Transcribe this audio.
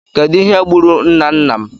Kedụ ihe gburu nna nna m?